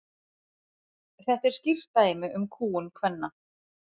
Þetta er skýrt dæmi um kúgun kvenna.